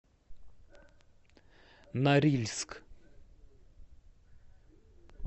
норильск